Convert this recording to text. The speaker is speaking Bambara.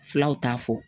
Filaw t'a fɔ